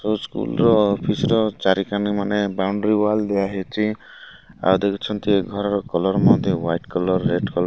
school ର office ର ଚାରିକାନ ବାଉଣ୍ଡ୍ରିି ୱାଲ୍ ଦିଆହେଇଛି ଆଉ ଦେଖୁଛନ୍ତି ଏ ଘରର କଲର୍ ମଧ୍ୟ ୱାଇଟ କଲର୍ ରେଡ୍ କଲର୍ --